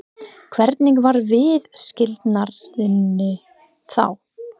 Hvernig var viðskilnaðurinn þá?